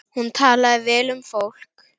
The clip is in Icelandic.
Hún talaði vel um fólk.